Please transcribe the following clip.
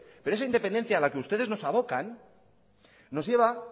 pero esa independencia a la que ustedes nos abocan nos lleva